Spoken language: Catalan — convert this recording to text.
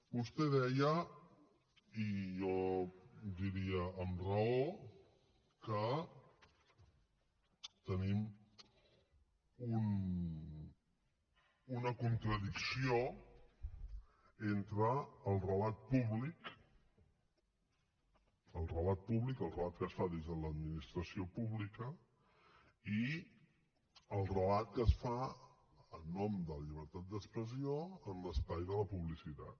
vostè deia i jo diria amb raó que tenim una contradicció entre el relat públic el relat públic el relat que es fa des de l’administració pública i el relat que es fa en nom de la llibertat d’expressió en l’espai de la publicitat